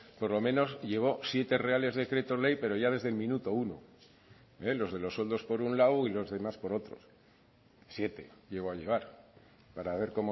por lo menos llevó siete reales decretos ley pero ya desde el minuto uno los de los sueldos por un lado y los demás por otros siete llegó a llevar para ver